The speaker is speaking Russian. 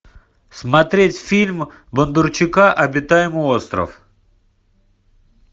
смотреть фильм бондарчука обитаемый остров